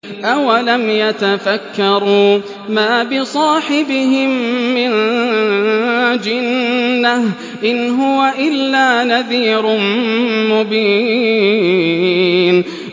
أَوَلَمْ يَتَفَكَّرُوا ۗ مَا بِصَاحِبِهِم مِّن جِنَّةٍ ۚ إِنْ هُوَ إِلَّا نَذِيرٌ مُّبِينٌ